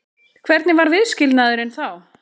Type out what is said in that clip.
Hvernig var viðskilnaðurinn þá?